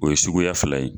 O ye suguya fila ye